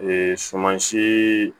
sumansi